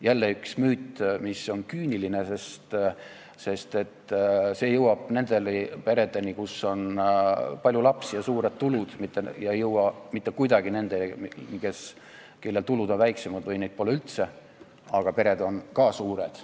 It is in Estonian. Jälle üks müüt, mis on küüniline, sest see abi jõuab nendesse peredesse, kus on palju lapsi ja suured tulud, aga ei jõua mitte kuidagi nendesse peredesse, kus tulud on väiksemad või neid pole üldse, aga pered on ka suured.